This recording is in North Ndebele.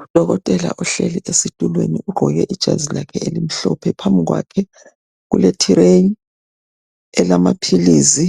UDokotela uhleli esitulweni ugqoke ijazi lakhe elimhlophe phambikwakhe kulethireyi elamaphilizi,